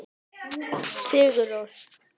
Sigur Rós.